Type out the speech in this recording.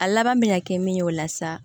A laban me na kɛ min ye o la sa